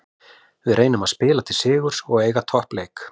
Við reynum að spila til sigurs og eiga toppleik.